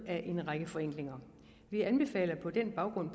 af en række forenklinger vi anbefaler på den baggrund